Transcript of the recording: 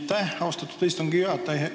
Aitäh, austatud istungi juhataja!